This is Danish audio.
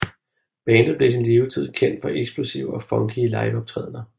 Bandet blev i sin levetid kendt for eksplosive og funky liveoptrædender